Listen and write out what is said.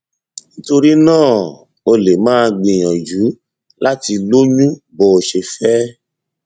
nítorí náà o lè máa gbìyànjú láti lóyún bó o ṣe fẹ